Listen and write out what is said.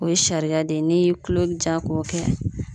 O ye sariya de ye ni tulo bɛ ja k'o kɛ.